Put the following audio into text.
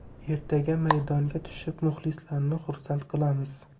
Ertaga maydonga tushib, muxlislarni xursand qilamiz.